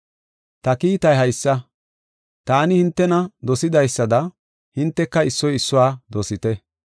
Ta kiitay haysa; taani hintena dosidaysada hinteka issoy issuwa dosite.